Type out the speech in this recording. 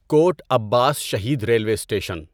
quote Abbas Shaheed railway station